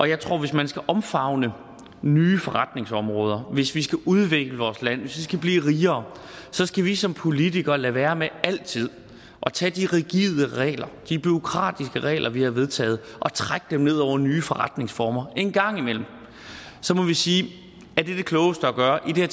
jeg tror at hvis man skal omfavne nye forretningsområder hvis vi skal udvikle vores land hvis vi skal blive rigere så skal vi som politikere lade være med altid at tage de rigide regler de bureaukratiske regler vi har vedtaget og trække dem ned over nye forretningsformer en gang imellem må vi sige er det det klogeste at gøre i det